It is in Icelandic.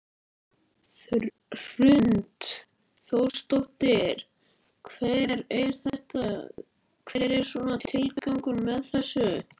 Hrund Þórsdóttir: Hver er svona tilgangur með þessu?